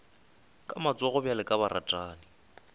ka matsogo bjalo ka baratani